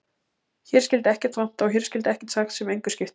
Hér skyldi ekkert vanta og hér skyldi ekkert sagt sem engu skipti.